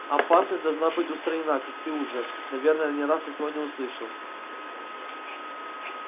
опасность должна быть устранена как ты уже наверное не раз сегодня слышал